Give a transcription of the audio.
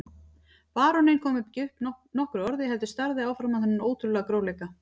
Baróninn kom ekki upp nokkru orði heldur starði áfram á þennan ótrúlega grófleika.